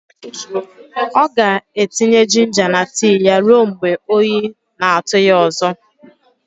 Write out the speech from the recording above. Ọ ga-etinye jinja na tii ya ruo mgbe oyi na-atụ ya ọzọ.